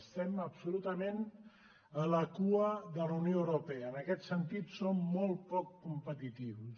estem absolutament a la cua de la unió europea en aquest sentit som molt poc competitius